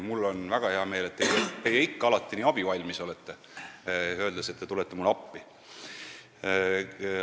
Mul on väga hea meel, et te ikka ja alati nii abivalmis olete, öeldes, et te tulete mulle appi.